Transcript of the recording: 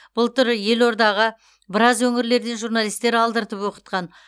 былтыр елордаға біраз өңірлерден журналистер алдыртып оқытқан